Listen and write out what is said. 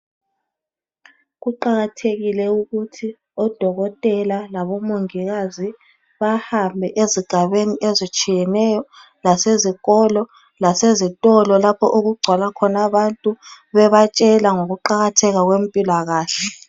Kuqakathekile ukuthi odokotela labomongikazi bahambe ezigabeni ezitshiyeneyo lasezikolo lasezitolo lapho okugcwala khona abantu . Bebatshela ngokuqakatheka kwempilakahle.